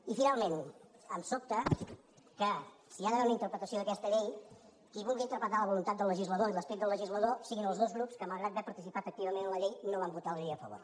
i finalment em sobta que si hi ha d’haver una interpretació d’aquesta llei qui vulgui interpretar la voluntat del legislador i l’esperit del legislador siguin els dos grups que malgrat haver participat activament en la llei no van votar la llei a favor